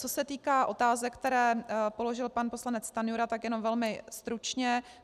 Co se týká otázek, které položil pan poslanec Stanjura, tak jenom velmi stručně.